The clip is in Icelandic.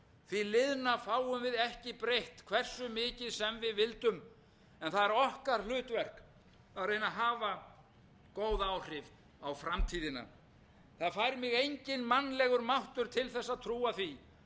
því liðna fáum við ekki breytt hversu mikið sem við vildum en það er okkar hlutverk að reyna að hafa góð áhrif á framtíðina það fær mig enginn mannlegur máttur til þess að trúa öðru en